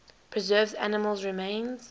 preserves animal remains